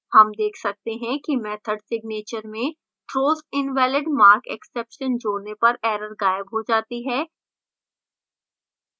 हम देख सकते हैं कि method signature में throws invalidmarkexception जोड़ने पर error गायब हो जाती है